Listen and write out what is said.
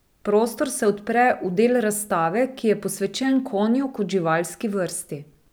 Prostor se odpre v del razstave, ki je posvečen konju kot živalski vrsti.